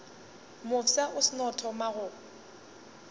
mofsa o seno thoma go